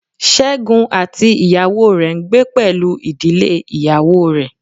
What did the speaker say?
Segun àti ìyàwó rẹ ń gbé pẹ̀lú ìdílé ìyàwó rẹ.